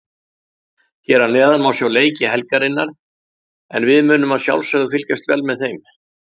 Hér að neðan má sjá leiki helgarinnar en við munum að sjálfsögðu fylgjast vel með.